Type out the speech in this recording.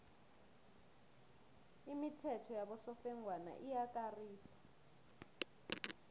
imithetho yabosofengwana iyakarisa